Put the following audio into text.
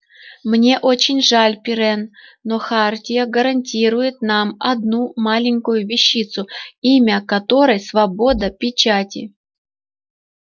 мне очень жаль пиренн но хартия гарантирует нам одну маленькую вещицу имя которой свобода печати